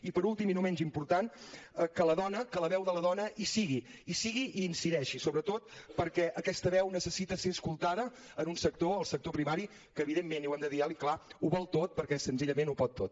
i per últim i no menys important que la dona que la veu de la dona hi sigui hi sigui i hi incideixi sobretot perquè aquesta veu necessita ser escoltada en un sector el sector primari que evidentment i ho hem de dir alt i clar ho vol perquè senzillament ho pot tot